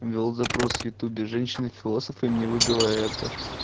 ввёл запрос в ютубе женщины философы и мне выбило это